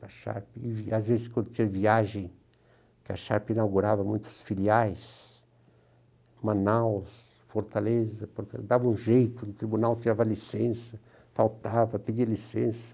a Sharpe. Às vezes, quando tinha viagem, que a Sharpe inaugurava muitos filiais, Manaus, Fortaleza, dava um jeito, o tribunal tirava licença, faltava, pedia licença.